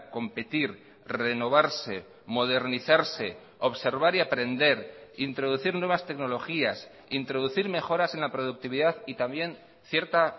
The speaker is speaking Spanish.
competir renovarse modernizarse observar y aprender introducir nuevas tecnologías introducir mejoras en la productividad y también cierta